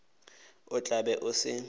o tla be o se